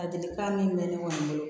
Ladilikan min bɛ ne kɔni bolo